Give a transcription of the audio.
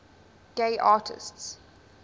gay artists